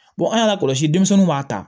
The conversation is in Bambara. an y'a la kɔlɔsi denmisɛnninw m'a ta